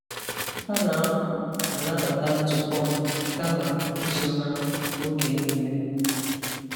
A na-anwa m anabata ntụpọ m kama izo ha oge niile.